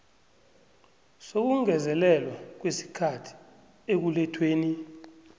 sokungezelelwa kwesikhathi ekulethweni